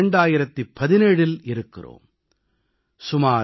இன்று 2017இல் இருக்கிறோம்